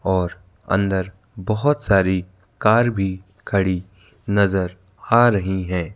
और अंदर बहोत सारी कार भी खड़ी नज़र आ रही हैं।